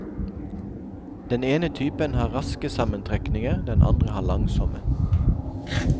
Den ene typen har raske sammentrekninger, den andre har langsomme.